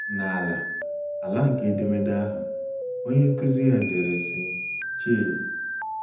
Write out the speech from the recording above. N’ala ala nke edemede ahụ, onye nkụzi ya dere, sị: “ Chei!